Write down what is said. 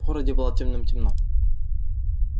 в городе было темным-темно